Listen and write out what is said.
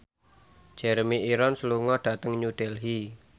Jeremy Irons lunga dhateng New Delhi